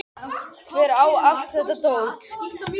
Hver á allt þetta dót?